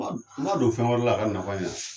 N k'a don fɛn wɛrɛ la a ka nafa ɲɛ